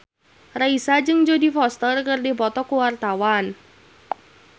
Raisa jeung Jodie Foster keur dipoto ku wartawan